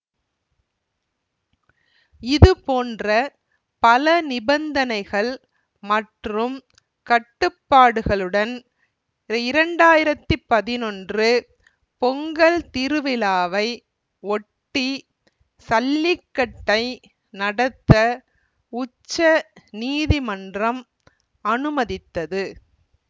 இது போன்ற பல நிபந்தனைகள் மற்றும் கட்டுப்பாடுகளுடன் இரண்டு ஆயிரத்தி பதினொன்று பொங்கல் திருவிழாவை ஒட்டி சல்லிக்கட்டை நடத்த உச்ச நீதிமன்றம் அனுமதித்தது